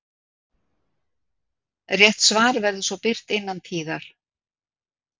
Rétt svar verður svo birt innan tíðar.